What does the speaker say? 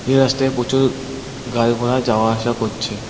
এই রাস্তায় প্রচুর গাড়ি ঘোড়া যাওয়া আসা করছে।